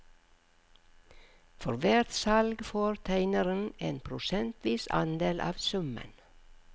For hvert salg får tegneren en prosentvis andel av summen.